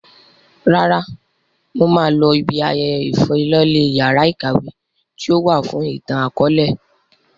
Rárá, mo máa lọ ibi ayẹyẹ ìfilọ́lẹ yàrá ìkàwé tíì ó wà fún ìtàn akọ̀ọ̀lẹ